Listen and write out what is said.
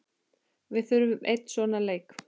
Við þurfum einn svona leik.